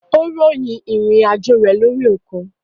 Ó ròyìn ìrìn àjò rẹ lórí òkun.